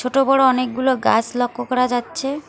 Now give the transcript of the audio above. ছোট বড় অনেকগুলো গাছ লক্ষ করা যাচ্ছে।